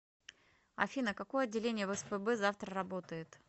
афина какое отделение в спб завтра работает